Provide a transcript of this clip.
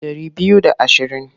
Ɗari biyu da ashirin.